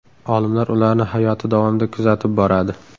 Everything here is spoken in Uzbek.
Olimlar ularni hayoti davomida kuzatib boradi.